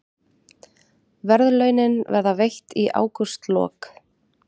Verðlaunin verða veitt í ágústlok